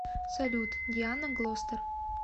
салют диана глостер